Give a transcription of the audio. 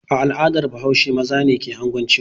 A al'adar Bahaushe maza ne ke anguncewa.